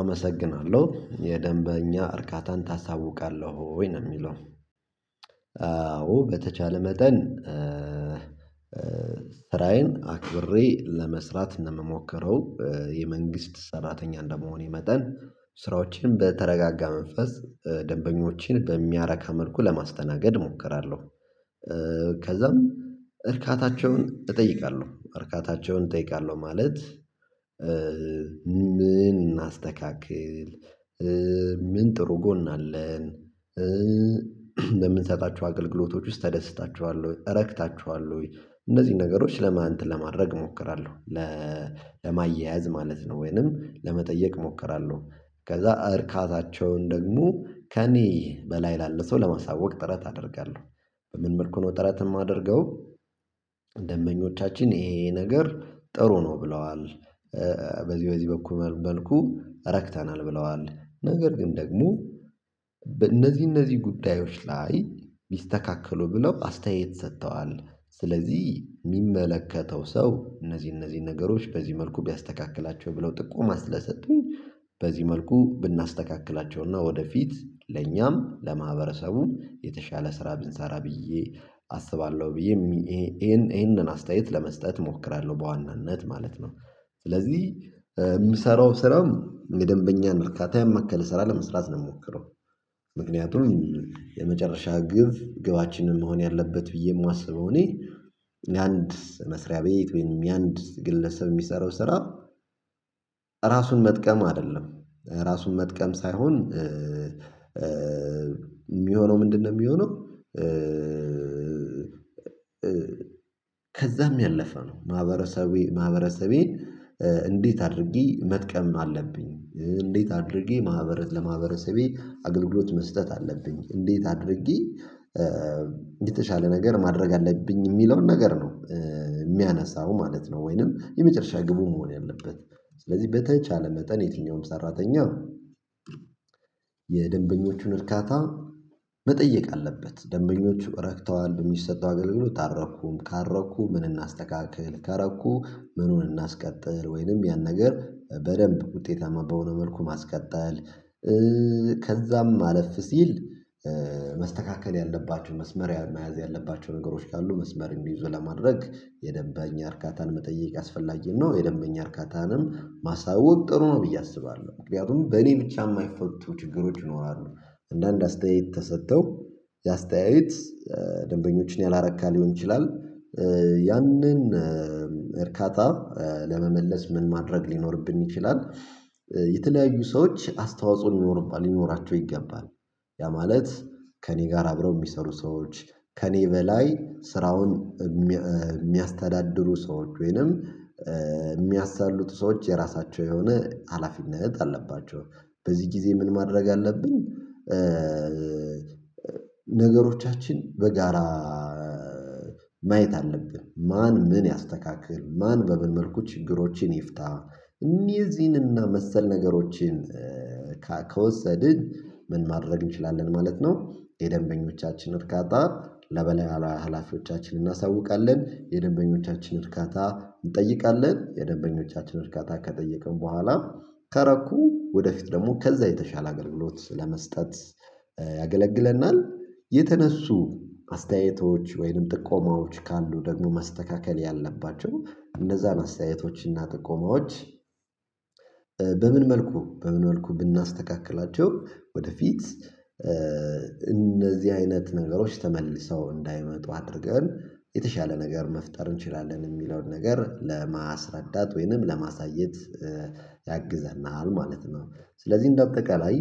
አመሰግናለሁ የደንበኛ እርካታን ታሳውቃለሁ ወይ ነው የሚለው? አዎ በተቻለ መጠን። ስራዬን አክብሬ ለመስራት ነው ምሞክረው የመንግስት ሰራተኛ እንደመሆኔ መጠን ስራዎችን በተረጋጋ መንፈስ ደንበኞችን በሚያረካ መልኩ ለማስተናገድ እሞክራለሁ። ከዛም እርካታቸውን እጠይቃለሁ እርካታቸውን እጠይቃለሁ ማለት ምን እናስተካክል ምን ጥሩ ጎን አለን? በምንሰጣችሁ አገልግሎቶች ውስጥ ተደስታቸዋል ወይ እረክታቸዋል ወይ እነዚህን ነገሮች ለማን እንትን ለማድረግ እሞክራለሁ። ለ ለማያያዝ ማለት ነው ወይንም ለመጠየቅ እሞክራለሁ። ከዛ እርካታቸውን ደግሞ ከእኔ በላይ ላለ ሰው ለማሳወቅ ጥረት አደርጋለሁ። በምን መልኩ ነው ጥረት የማደርገው? ደንበኞቻችን ይሄ ነገር ጥሩ ነው ብለዋል። በዚህ በዚህ በኩል መልኩ ረክተናል ብለዋል። ነገር ግን ደግሞ እነዚህ እነዚህ ጉዳዮች ላይ ቢስተካከሉ ብለው አስተያየት ሰጥተዋል። ስለዚህ የሚመለከተው ሰው እነዚህ እነዚህ ነገሮች በዚህ መልኩ ቢያስተካክላቸው ብለው ጥቆማ ስለሰጡኝ። በዚህ መልኩ ብናስተካክላቸውና ወደፊት ለኛም ለማህበረሰቡም የተሻለ ስራ ብንሰራ ብዬ አስባለሁ ብዬ ይሄንን አስተያየት ለመስጠት እሞክራለሁ በዋናነት ማለት ነው። ስለዚህ የምሰራው ስራም የደንበኛን እርካታ ያማከለ ስራ ለመስራት ነው የምሞክረው። ምክንያቱም የመጨረሻ ግብ ግባችንም መሆን ያለበት ብዬ የማስበው እኔ የአንድ መስሪያ ቤት ወይም የአንድ ግለሰብ የሚሰራው ስራ። ራሱን መጥቀም አይደለም። ራሱን መጥቀም ሳይሆን። የሚሆነው ምንድነው የሚሆነው? ከዛም ያለፈ ነው ማህበረሰቤ ማህበረሰቤን። እንዴት አድርጌ መጥቀም አለብኝ? እንዴት አድርጌ ማህበረ ለማህበረሰቤ አገልግሎት መስጠት አለብኝ? እንዴት አድርጌ የተሻለ ነገር ማድረግ አለብኝ? የሚለውን ነገር ነው የሚያነሳው ማለት ነው። ወይንም የመጨረሻ ግቡ መሆን ያለበት ስለዚህ በተቻለ መጠን የትኛውም ሰራተኛው። የደንበኞቹን እርካታ መጠየቅ አለበት። ደንበኞቹ ረክተዋል በሚሰጠው አገልግሎት አረኩም ካረኩ ምን እናስተካክል ከረኩ ምኑን እናስቀጥል ወይንም ያን ነገር በደንብ ውጤታማ በሆነ መልኩ ማስቀጠል። ከዛም አለፍ ሲል መስተካከል ያለባቸውን መስመሪያ መያዝ ያለባቸው ነገሮች ካሉ መስመር እንዲይዙ ለማድረግ የደንበኛ እርካታን መጠየቅ አስፈላጊ ነው። የደንበኛ እርካታንም ማሳወቅ ጥሩ ነው። ብዬ አስባለሁ ምክንያቱም በእኔ ብቻ የማይፈቱ ችግሮች ይኖራሉ። አንዳንድ አስተያየት ተሰጥተው የአስተያየት ደንበኞችን ያላረካ ሊሆን ይችላል። ያንን እርካታ ለመመለስ ምን ማድረግ ሊኖርብን ይችላል? የተለያዩ ሰዎች አስተዋጽኦ ሊኖሩባን ሊኖራቸው ይገባል። ያ ማለት ከእኔ ጋር አብረው የሚሰሩ ሰዎች ከእኔ በላይ ስራውን የሚያስተዳድሩ ሰዎች ወይንም የሚያሳልጡ ሰዎች የራሳቸው የሆነ ሀላፊነት አለባቸው በዚህ ጊዜ ምን ማድረግ አለብን? ነገሮቻችን በጋራ ማየት አለብን ማን ምን ያስተካክል ማን በምን መልኩ ችግሮችን ይፍታ? እንየዚህንና መሰል ነገሮችን ከወሰድን ምን ማድረግ እንችላለን ማለት ነው። የደንበኞቻችን እርካታ ለበለያ ሀላፊዎቻችን እናሳውቃለን የደንበኞቻችን እርካታ እንጠይቃለን የደንበኞቻችን ርካታ ከጠየቅን በኋላ ከረኩ ወደፊት ደግሞ ከዛ የተሻለ አገልግሎት ለመስጠት ያገለግለናል። የተነሱ አስተያየቶች ወይንም ጥቆማዎች ካሉ ደግሞ ማስተካከል ያለባቸው እንደዛ አስተያየቶችና ጥቆማዎች። በምን መልኩ በምን መልኩ ብናስተካክላቸው ወደፊት እነዚህ አይነት ነገሮች ተመልሰው እንዳይመጡ አድርገን የተሻለ ነገር መፍጠር እንችላለን የሚለውን ነገር ለማስረዳት ወይንም ለማሳየት። ያግዘናል ማለት ነው። ስለዚህ እንደ አጠቃላይ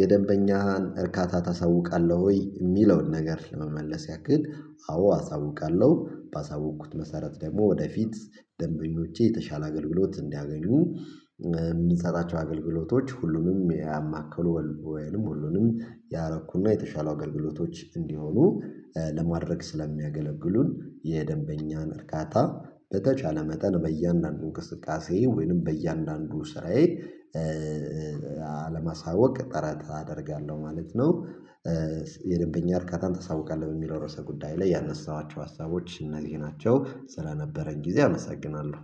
የደንበኛን እርካታ ታሳውቃለህ ወይ የሚለውን ነገር ለመመለስ ያክል አዎ አሳውቃለሁ። ባሳውኩት መሰረት ደግሞ ወደፊት ደንበኞቼ የተሻለ አገልግሎት እንዲያገኙ የምንሰጣቸው አገልግሎቶች ሁሉንም ያማከሉ ወልቦ ወይንም ሁሉንም ያረኩና የተሻሉ አገልግሎቶች እንዲሆኑ ለማድረግ ስለሚያገለግሉን የደንበኛን እርካታ በተቻለ መጠን በእያንዳንዱ እንቅስቃሴ ወይንም በእያንዳንዱ ስራዬ አለማሳወቅ ጥረት አደርጋለሁ ማለት ነው። የደበኛ እርካታን ታሳውቃለህ በሚለው ርዕሰ ጉዳይ ላይ ያነሳኋቸው ሀሳቦች እነዚህ ናቸው። ስለነበረን ጊዜ አመሰግናለሁ